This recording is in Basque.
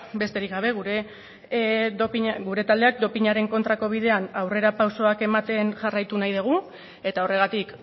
besterik gabe gure taldeak dopinaren kontrako bidean aurrerapausoak ematen jarraitu nahi dugu eta horregatik